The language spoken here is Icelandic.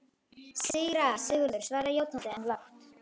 Síra Sigurður svaraði játandi, en lágt.